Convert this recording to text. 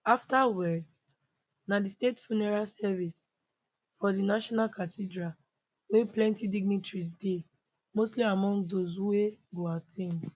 afta words na di state funeral service for di national cathedral wia plenti dignitaries dey mostly among dose wey go at ten d